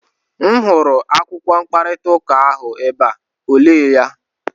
M hụrụ akwụkwọ mkparịta ụka ahụ ebe a, o lee ya?